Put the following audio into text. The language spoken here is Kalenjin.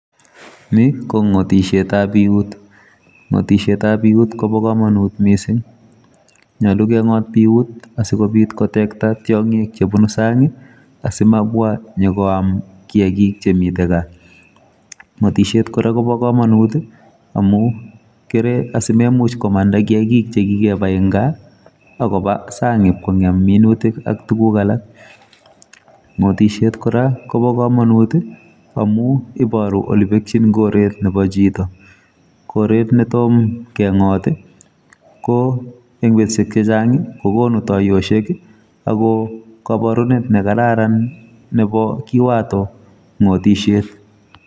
Ni, ko ng'otishetab biut. Ng'otishetab biut kobo komonut missing. Nyolu keng'ot biut asikobit kotekta tiong'ik chebunu sang', asimabwa nyikoam kiyagiik chemitei gaa. Ng'otishet kora kobo komonut, amu keree asimemuch komanda kiyagik che kikebai eng' gaa, akoba sang' ipkongem minutik ak tuguk alak. Ngotishet kora kobo komonut, amu, iboru ole pekchin koret nebo chito. Koret netom keng'ot, ko eng' betushek chechang', kokonu tiayoshek, ago kabarunet nebo kararan nebo kiwato ng'otishet.